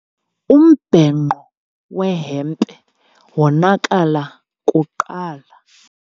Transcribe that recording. Umbhenqo wehempe wonakala kuqala.